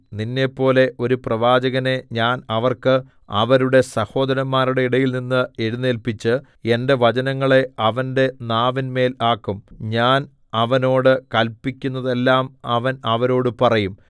നിന്നെപ്പോലെ ഒരു പ്രവാചകനെ ഞാൻ അവർക്ക് അവരുടെ സഹോദരന്മാരുടെ ഇടയിൽനിന്ന് എഴുന്നേല്പിച്ച് എന്റെ വചനങ്ങളെ അവന്റെ നാവിന്മേൽ ആക്കും ഞാൻ അവനോട് കല്പിക്കുന്നതെല്ലം അവൻ അവരോടു പറയും